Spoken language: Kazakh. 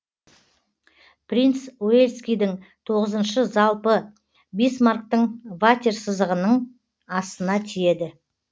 принц уэльскийдін тоғызыншы залпы бисмарктін ватерсызығынын астына тиеді